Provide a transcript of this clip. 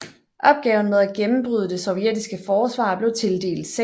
Opgaven med at gennembryde det sovjetiske forsvar blev tildelt 6